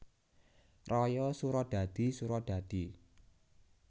Raya Suradadi Suradadi